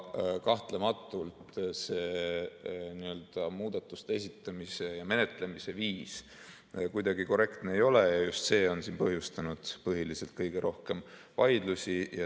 Kahtlematult see muudatuste esitamise ja menetlemise viis kuidagi korrektne ei ole ja just see on põhjustanud kõige rohkem vaidlusi.